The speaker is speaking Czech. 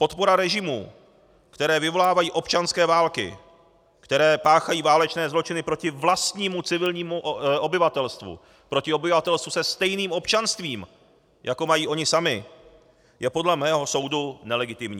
Podpora režimů, které vyvolávají občanské války, které páchají válečné zločiny proti vlastnímu civilnímu obyvatelstvu, proti obyvatelstvu se stejným občanstvím, jako mají oni sami, je podle mého soudu nelegitimní.